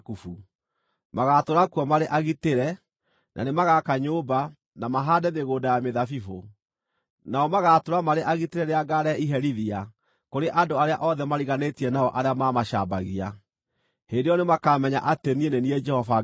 Magaatũũra kuo marĩ agitĩre, na nĩmagaka nyũmba, na mahaande mĩgũnda ya mĩthabibũ; nao magaatũũra marĩ agitĩre rĩrĩa ngaarehe iherithia kũrĩ andũ arĩa othe mariganĩtie nao arĩa maamacambagia. Hĩndĩ ĩyo nĩmakamenya atĩ niĩ nĩ niĩ Jehova Ngai wao.’ ”